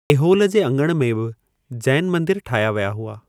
एहोल जे अङण में बि जैनि मंदर ठाहिया विया हुआ।